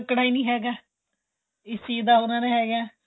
ਰੁੱਕਣਾ ਨਹੀਂ ਹੈਗਾ